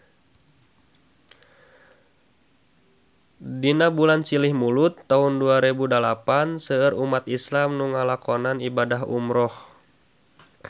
Dina bulan Silih Mulud taun dua rebu dalapan seueur umat islam nu ngalakonan ibadah umrah